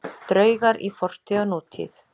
Draugar í fortíð og nútíð